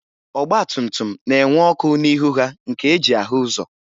Ọgbatumtum na-enwe ọkụ n'ihu ha nke e ji ahụ ụzọ